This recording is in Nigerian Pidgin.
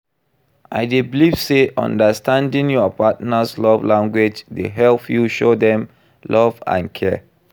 I dey believe say understanding your partner's love language dey help you show dem love and care.